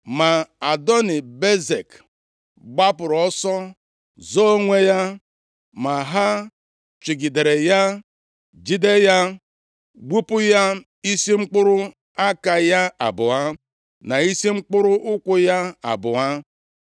Ma Adoni-Bezek gbapụrụ ọsọ zoo onwe ya, ma ha chụgidere ya, jide ya, gbupụ ya isi mkpụrụ aka ya abụọ na isi mkpụrụ ụkwụ ya abụọ. + 1:6 I gbupụ isi mkpụrụ aka, na mkpịsịụkwụ nke ndị e jidere nʼagha, bụ ihe a na-ejighị kpọrọ ihe na mba ndị dị nʼetiti ọwụwa anyanwụ. Mgbe e gbupụrụ isi mkpụrụ aka na mkpịsịụkwụ onye agha, onye dị otu a agaghị e nwe ike jide ngwa agha ọzọ, maọbụ gaa ije.